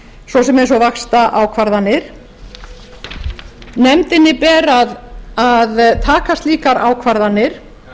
svo sem eins og vaxtaákvarðanir nefndinni ber að taka slíkar ákvarðanir